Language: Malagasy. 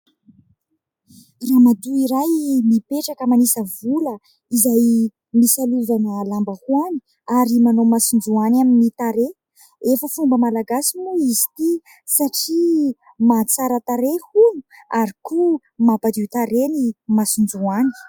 Ramatoa iray mipetraka manisa vola, izay misalovana lambahoany ary manao masonjoany amin'ny tarehy. Efa fomba malagasy moa izy ity, satria mahatsara tarehy hono, ary koa mampadio tarehy ny masonjoany.